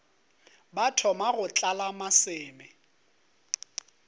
ba thoma go tlala maseme